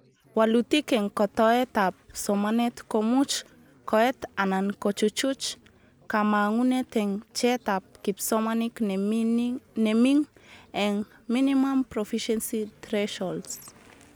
Walutik eng kotoetab somanet komuch koet anan kochuchuch kamangunet eng bjeetab kipsomanink neming eng Minimum Proficiency Threshold